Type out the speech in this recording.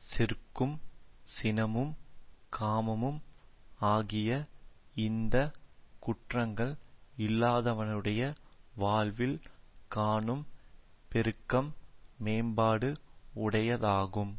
செருக்கும் சினமும் காமமும் ஆகிய இந்த குற்றங்கள் இல்லாதவனுடைய வாழ்வில் காணும் பெருக்கம் மேம்பாடு உடையதாகும்